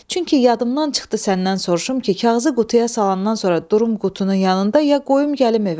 Çünki yadımdan çıxdı səndən soruşum ki, kağızı qutuya salandan sonra durum qutunun yanında, ya qoyum gəlim evə.